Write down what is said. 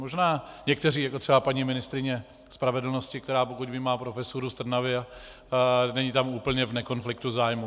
Možná někteří, jako třeba paní ministryně spravedlnosti, která, pokud vím, má profesuru v Trnavě, není tam úplně v nekonfliktu zájmů.